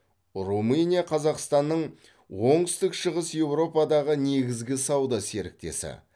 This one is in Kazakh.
румыния қазақстанның оңтүстік шығыс еуропадағы негізгі сауда серіктесі